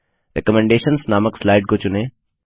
recommendations नामक slide को चुनें